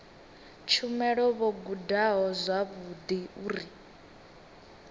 tshumelo vho gudaho zwavhudi uri